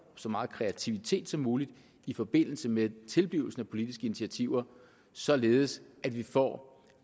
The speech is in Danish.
så meget kreativitet som muligt i forbindelse med tilblivelsen af politiske initiativer således at vi får